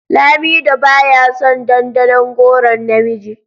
Lamido baya son dandanon goron na miji.